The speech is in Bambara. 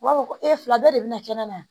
U b'a fɔ ko e fila dɔ de bɛna kɛnɛma